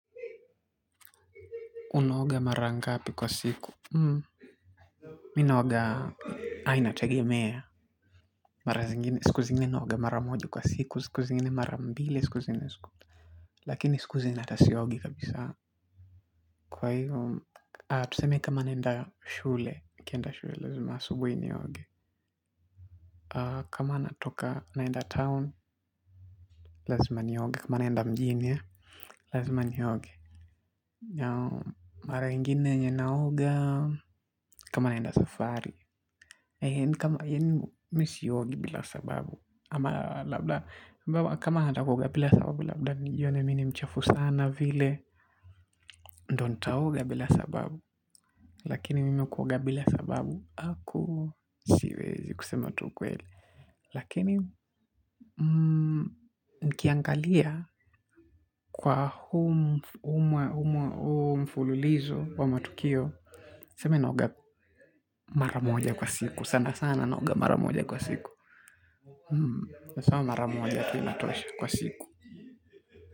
Unaoga mara ngapi kwa siku? Mm. Mi naoga ai, inategemea. Mara zingine siku zingine naoga mara moja kwa siku. Siku zingine mara mbili, siku zingine siku. Lakini siku zingine hata siogi kabisa. Kwa hivo. Tuseme kama naenda shule. Nikienda shule lazima asubuhi nioge. Kama natoka naenda town, lazima nioge. Kama naenda mjini eh. Lazima ni yogi. Yeah. Mara ingine yenye naoga. Kama na nda safari. Kama mi siogi bila sababu. Ama labda kama nataka kuoga bila sababu labda nijione mi ni mchafu sana vile. Ndio nitaoga bila sababu. Lakini mimi kuoga bila sababu haku siwezi kusema tu ukweli. Lakini nikiangalia kwa huu mfululizo wa matukio tuseme naoga mara moja kwa siku. Sana sana naoga mara moja kwa siku. Hm, hasa mara moja tu inatosha kwa siku.